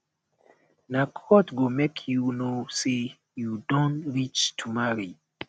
na growth go make you know sey you don reach to marry